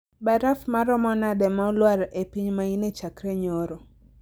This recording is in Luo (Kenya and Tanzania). baraf maromo nade ma olwar e piny maine chakre nyoro